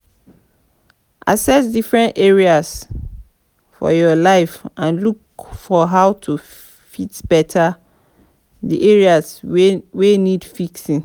access different areas for your life and look for how to fit better di areas wey need fixing